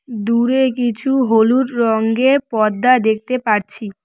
দূরে কিছু হলু রঙের পর্দা দেখতে পারছি।